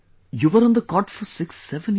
you were on the cot for 67 years